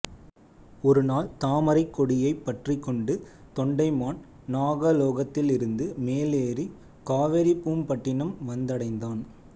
ஒரு நாள் தாமரைக் கொடியைப் பற்றிக்கொண்டு தொண்டைமான் நாகலோகத்திலிருந்து மேலேறிக் காவிரிப்பூம்பட்டினம் வந்தடைந்தான்